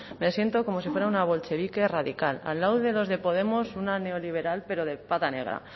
me siento como si fuera una bolchevique radical al lado de los de podemos una neoliberal pero de pata negra